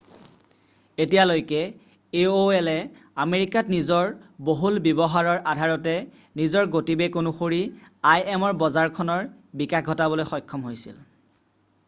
এতিয়ালৈকে এঅ'এলে আমেৰিকাত নিজৰ বহুল ব্য়ৱহাৰৰ আধাৰতে নিজৰ গতিবেগ অনুসৰি আইএমৰ বজাৰখনৰ বিকাশ ঘটাবলৈ সক্ষম হৈছিল